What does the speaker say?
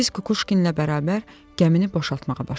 Biz Kukuşkinlə bərabər gəmini boşaltmağa başladıq.